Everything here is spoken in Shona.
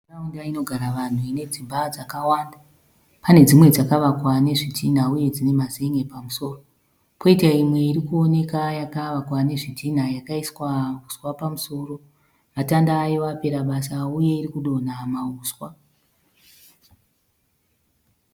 Nharaunda inogara vanhu ine dzimba dzakawanda. Pane dzimwe dzakavakwa nezvitinha uye dzine mazen'e pamusoro. Poita imwe iri kuwoneka yakavakwa nezvitinha yakaiswa uswa pamusoro. Matanda ayo apera basa uye iri kudonha mahuswa.